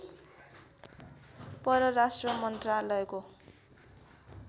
परराष्ट्र मन्त्रालयको